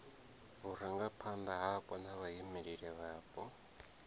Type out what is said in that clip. vhurangaphanda hapo na vhaimeleli vhapo